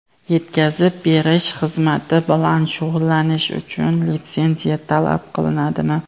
Yetkazib berish xizmati bilan shug‘ullanish uchun litsenziya talab etiladimi?.